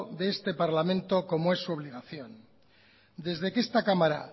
de este parlamento como es su obligación desde que esta cámara